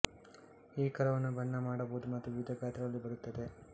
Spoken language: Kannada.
ಈ ಕರವನ್ನು ಬಣ್ಣ ಮಾಡಬಹುದು ಮತ್ತು ವಿವಿಧ ಗಾತ್ರಗಳಲ್ಲಿ ಬರುತ್ತದೆ